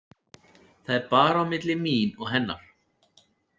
Það er bara milli mín og hennar.